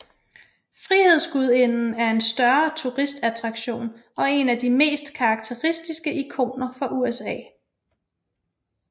Frihedsgudinden er en større turistattraktion og en af de mest karakteristiske ikoner for USA